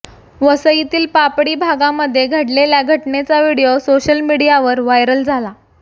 वसईतील पापडी भागामध्ये घडलेल्या घटनेचा व्हिडिओ सोशल मीडियावर वायरल झाला